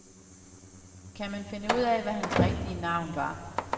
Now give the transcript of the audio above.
Kan man finde ud af, hvad hans rigtige navn var.